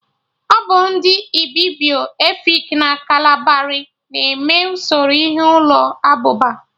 Ọbụ ndị Ibibio, Efik na Kalabari na-eme usoro ihe ụlọ abụba